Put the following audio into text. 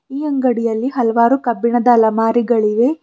ಈ ಅಂಗಡಿಯಲ್ಲಿ ಹಲವಾರು ಕಬ್ಬಿಣದ ಅಲಮಾರಿಗಳಿವೆ.